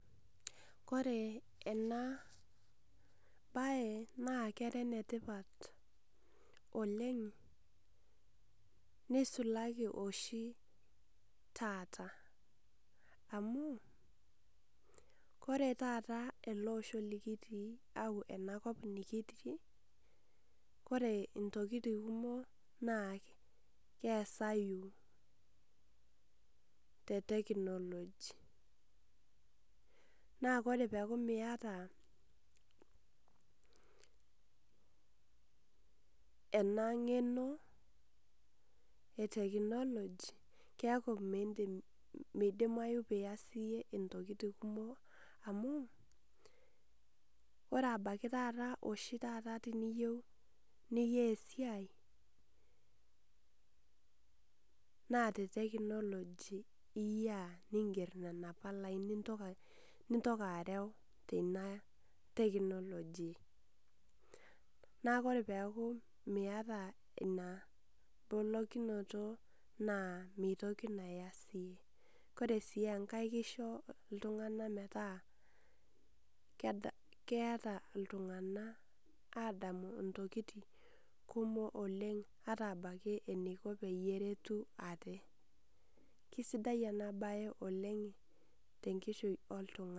Kore enabae na kera enetipat oleng, nisulaki oshi taata. Amu, kore taata ele osho likitii au enakop nikitii, kore intokiting kumok na kesayu te technology. Na kore peku miata ena ng'eno e technology keku midim midimayu pias iyie intokiting kumok, amu ore ebaki taata oshi taata tiniyieu nikai esiai, na te technology iyiaa niger nena palai nintoka areu teina technology. Na kore peku miata ina bolokinoto naa mitoki nayas si. Kore si enkae kisho iltung'anak metaa keeta iltung'anak adamu intokiting kumok oleng ata abaki eniko peyie eretu ate. Kisidai enabae oleng tenkishui oltung'ani.